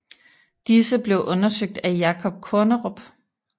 Disse blev undersøgt af Jacob Kornerup